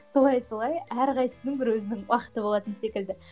солай солай әрқайсысының бір өзінің уақыты болатын секілді